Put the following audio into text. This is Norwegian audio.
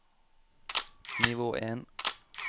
nivå en